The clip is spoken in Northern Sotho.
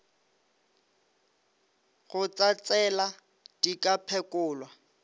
go tsatsela di ka phekolwa